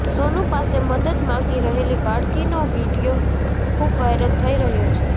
સોનુ પાસે મદદ માગી રહેલી બાળકીનો વિડીયો ખૂબ વાયરલ થઈ રહ્યો છે